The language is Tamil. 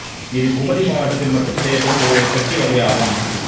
இது குமரி மாவட்டத்தில் மட்டும் செய்யப்படும் ஒரு பெட்டி வகை ஆகும்